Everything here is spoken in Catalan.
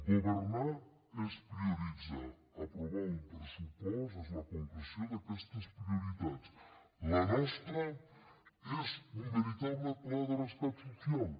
governar és prioritzar aprovar un pressupost és la concreció d’aquestes prioritats la nostra és un veritable pla de rescat social